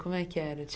Como é que era?